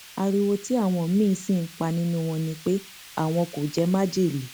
ariwo tí àwọn míín sì ń pa nínú wọn ni pé àwọn kò jẹ májèlé